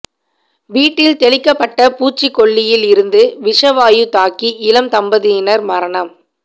வீட்டில்தெளிக்கப்பட்ட பூச்சி கொல்லியில் இருந்து விஷ வாயு தாக்கி இளம் தம்பதியினர் மரணம்